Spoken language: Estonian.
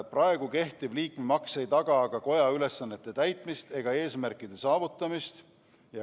Praegu kehtiv liikmemaks ei taga koja ülesannete täitmist ega eesmärkide saavutamist.